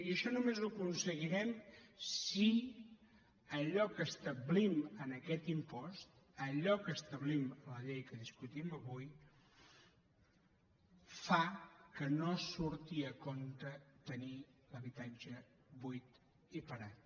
i això només ho aconseguirem si allò que establim amb aquest impost allò que establim a la llei que discutim avui fa que no surti a compte tenir l’habitatge buit i parat